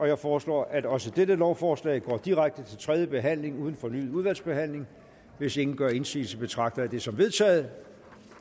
jeg foreslår at også dette lovforslag går direkte til tredje behandling uden fornyet udvalgsbehandling hvis ingen gør indsigelse betragter jeg det som vedtaget